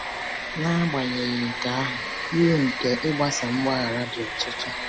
N’agbanyeghị nke ahụ, uru nke ịgbasa mgbaghara dị ọtụtụ.